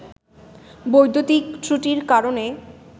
বৈদ্যুতিক ত্রুটির কারণে